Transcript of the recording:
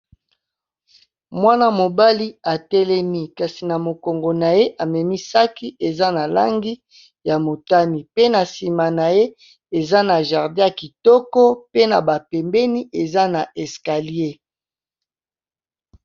Mwana-mobali atelemi kasi na mokongo na ye amemi saki eza na langi ya motani, pe na nsima na ye eza na jardin ya kitoko pe na ba pembeni eza na escalier.